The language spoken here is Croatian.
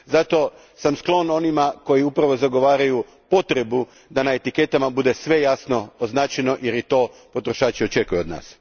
Zato sam sklon onima koji zagovaraju potrebu da na etiketama bude sve jasno označeno, jer to potrošači i očekuju od nas.